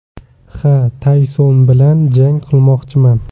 Ha, Tayson bilan jang qilmoqchiman.